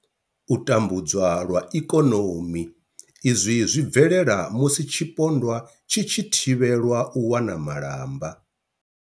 U tambudzwa lwa ikonomi, Izwi zwi bvelela musi tshipondwa tshi tshi thivhelwa u wana malamba.